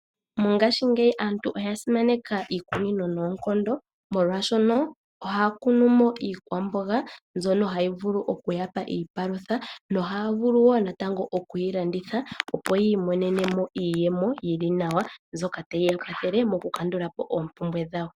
Mongaashingeyi aantu oya simaneka iikunino noonkondo, molwaashono ohaya kunu mo iikwaamboga mbyono hayi vulu oku ya pa iipalutha, nohaya vulu woo natango okwiilanditha opo yi imonene mo iiyemo mbyoka tayi ya kwathele moku kandula po oopumbwe dhawo.